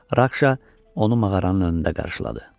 Rakşa onu mağaranın önündə qarşıladı.